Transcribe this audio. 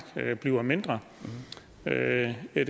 bliver mindre det er